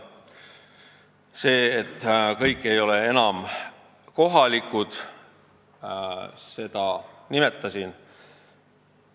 Seda, et kõik ei ole enam kohalikud, juba nimetasin.